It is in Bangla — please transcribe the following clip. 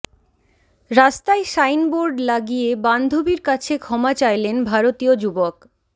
রাস্তায় সাইনবোর্ড লাগিয়ে বান্ধবীর কাছে ক্ষমা চাইলেন ভারতীয় যুবক